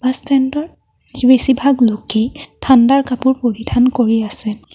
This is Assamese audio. বাছ ষ্টেণ্ডৰ বেছিভাগ লোকে ঠাণ্ডাৰ কাপোৰ পৰিধান কৰি আছে।